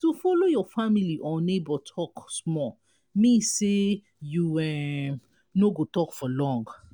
to follow your family or neighbour talk small mean say you um no go talk for long